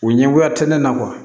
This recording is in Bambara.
U ɲɛngoya tɛ ne na